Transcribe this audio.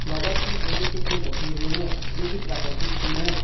Covers में गेंदे के फूल रखे हुए हैं जो की प्राकृतिक फूल हैं।